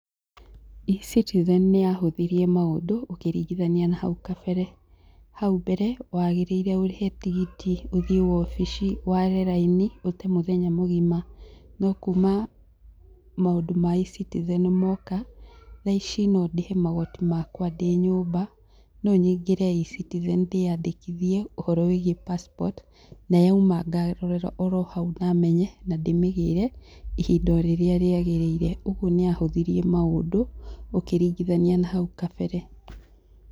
eCitizen nĩyahũthirie maũndũ ũkĩringithania na hau kabere. Hau mbere wagĩrĩire ũrĩhe tigiti, ũthiĩ wobici, ware raini, ũte mũthenya mũgima. No kuuma maũndũ ma eCitizen moka, thaa ici no ndĩhe magoti makwa ndĩ nyũmba. No nyingĩre eCitizen ndĩandĩkithie ũhoro wĩgiĩ passport, na yauma ngarorera oro hau na menye na ndĩmĩgĩre, ihinda o rĩrĩa rĩagĩrĩire. Ũguo nĩyahũthirie maũndũ, ũkĩringithania na hau kabere.